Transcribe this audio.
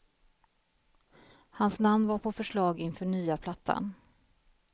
Hans namn var på förslag inför nya plattan.